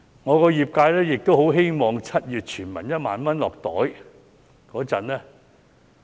我的業界也希望在7月全民獲派1萬元時......